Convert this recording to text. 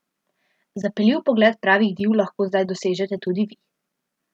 Zapeljiv pogled pravih div lahko zdaj dosežete tudi vi!